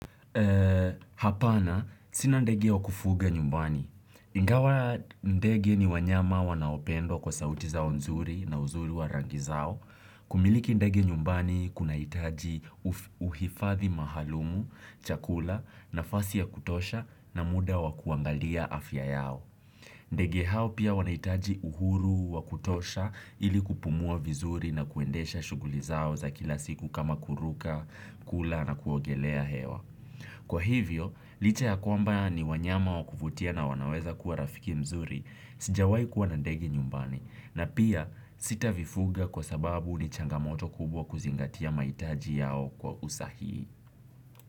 Hapana, sina ndege wa kufuga nyumbani. Ingawa ndege ni wanyama wanaopendwa kwa sauti zao nzuri na uzuri wa rangi zao. Kumiliki ndege nyumbani kunahitaji uhifathi maalumu, chakula, nafasi ya kutosha na muda wa kuangalia afya yao. Ndege hao pia wanahitaji uhuru wa kutosha ili kupumua vizuri na kuendesha shuguli zao za kila siku kama kuruka, kula na kuogelea hewa. Kwa hivyo, licha ya kwamba ni wanyama wa kuvutia na wanaweza kuwa rafiki mzuri, sijawai kuwa na ndege nyumbani, na pia sitavifuga kwa sababu ni changamoto kubwa kuzingatia mahitaji yao kwa usahihi.